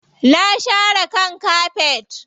Na share kan kafet.